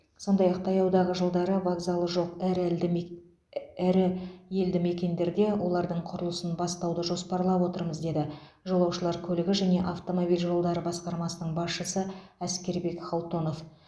сондай ақ таяудағы жылдары вокзалы жоқ әр елді ірі елді мекендерде олардың құрылысын бастауды жоспарлап отырмыз деді жолаушылар көлігі және автомобиль жолдары басқармасының басшысы әскербек халтонов